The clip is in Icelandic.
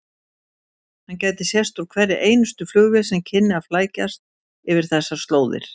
Hann gæti sést úr hverri einustu flugvél sem kynni að flækjast yfir þessar slóðir.